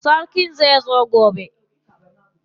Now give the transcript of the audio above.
Sarkin zai zo gobe.